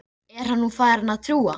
Eragon, hefur þú prófað nýja leikinn?